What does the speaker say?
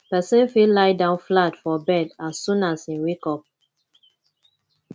person fit lie down flat for bed as soon as im wake up